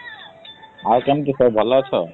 ଆଉ କେମିତି ସବୁ ଭଲ ଅଛ?